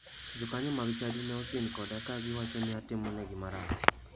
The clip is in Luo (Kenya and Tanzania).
Jokanyo mag chadi ne osin koda ka giwacho ni atimo negi marach.